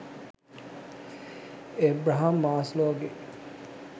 Abraham මාස්ලෝගේ